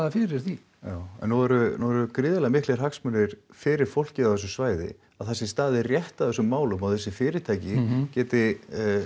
fyrir því en nú eru nú eru gríðarlega miklir hagsmunir fyrir fólkið á þessu svæði að það sé staðið rétt að þessu máli og þessi fyrirtæki geti